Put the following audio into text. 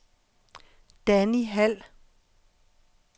Danni Hald